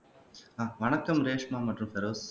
ஆஹ் வணக்கம் ரேஷ்மா மற்றும் பெரோஸ்